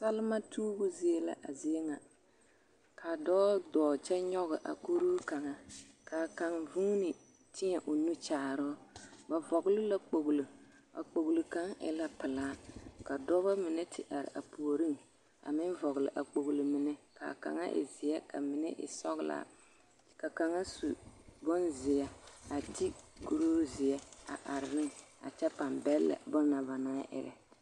Salema tuubu zie la a zie ŋa ka dɔɔ dɔɔ kyɛ nyɔge a kuroo kaŋa k'a kaŋ guuni tēɛ o nu kyaaroo, ba vɔgele la kpogilo a kpogilo kaŋ e la pelaa ka dɔbɔ mine te are a puoriŋ a meŋ vɔgele a kpogilo mine k'a kaŋa e zeɛ ka mine e sɔgelaa ka kaŋa su bonzeɛ a te kuroo zeɛ a are ne a kyɛ pãā bɛllɛ bonna banaŋ erɛ.